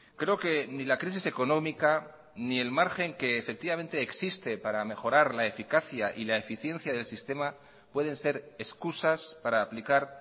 creo que ni la crisis económica ni el margen que efectivamente existe para mejorar la eficacia y la eficiencia del sistema pueden ser excusas para aplicar